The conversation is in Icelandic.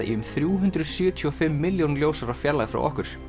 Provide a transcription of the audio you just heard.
í um þrjú hundruð sjötíu og fimm milljón ljósára fjarlægð frá okkur